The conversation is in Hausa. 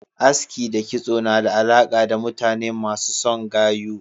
Aski kitso na da alaka da mutane masu son gayu.